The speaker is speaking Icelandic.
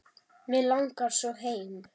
Mig langar svo heim.